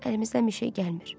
Əlimizdən bir şey gəlmir.